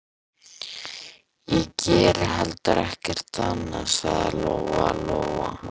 Ég geri heldur ekkert annað, sagði Lóa-Lóa.